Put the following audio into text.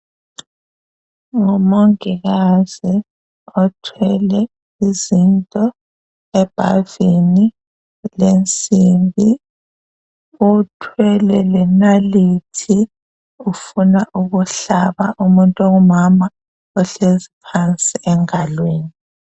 Ngumongikazi othwele izinto ebhavini lensimbi. Uthwele lenalithi ufuna ukuhlaba umuntu ongumama ohleziyo phansi engalweni.